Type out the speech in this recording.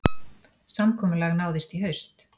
Samkomulag náðist í haust